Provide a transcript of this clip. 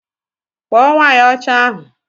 Kpọ nwanyi ọcha ahu!!